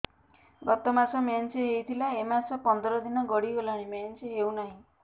ଗତ ମାସ ମେନ୍ସ ହେଇଥିଲା ଏ ମାସ ପନ୍ଦର ଦିନ ଗଡିଗଲାଣି ମେନ୍ସ ହେଉନାହିଁ